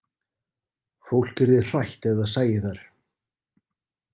Fólk yrði hrætt ef það sæi þær.